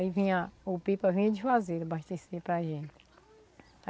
Aí vinha, o pipa vinha de Juazeiro abastecer para gente.